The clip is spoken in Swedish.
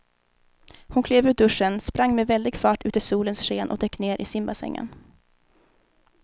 Hon klev ur duschen, sprang med väldig fart ut i solens sken och dök ner i simbassängen.